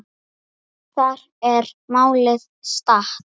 Þar er málið statt.